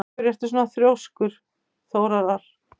Af hverju ertu svona þrjóskur, Þórar?